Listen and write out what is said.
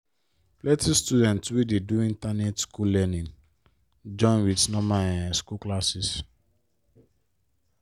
plenti student dey do internet school learning join with normal um school classes.